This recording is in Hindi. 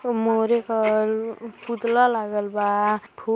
मोरे के ओर पुतला लागल बा फु --